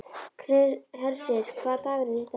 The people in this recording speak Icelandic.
Hersir, hvaða dagur er í dag?